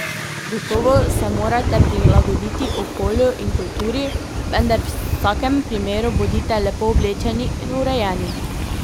Gotovo se morate prilagoditi okolju in kulturi, vendar v vsakem primeru bodite lepo oblečeni in urejeni.